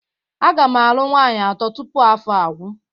Aga m alụ nwaanyị atọ tupu afọ a agwụ.